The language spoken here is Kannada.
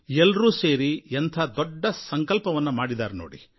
ಎಲ್ಲರೂ ಸೇರಿ ಇವರು ಎಂಥ ದೊಡ್ಡ ಸಂಕಲ್ಪವನ್ನು ಮಾಡಿದ್ದಾರೆ ನೋಡಿ